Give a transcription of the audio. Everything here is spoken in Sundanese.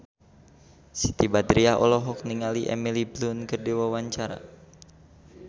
Siti Badriah olohok ningali Emily Blunt keur diwawancara